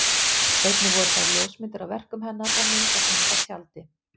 Einnig voru þar ljósmyndir af verkum hennar og myndasýning á tjaldi.